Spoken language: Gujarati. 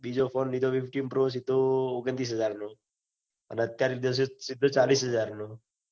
બીજો phon લીધો તો ફિફટિન પ્રો લીધો. તો ઓગણતીસ હાજર નો અને અત્યાર લીધો સીધો ચાલીસ હાજર નો.